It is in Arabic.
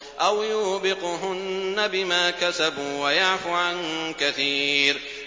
أَوْ يُوبِقْهُنَّ بِمَا كَسَبُوا وَيَعْفُ عَن كَثِيرٍ